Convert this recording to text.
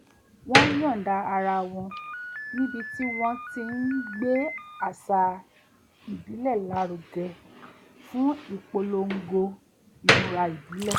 wọ́n yọ̀ǹda ara wo̩n ní ibi tí wọ́n ti ń gbé àṣà ìbílẹ̀ lárugẹ fún ìpolongo imura ìbílè̩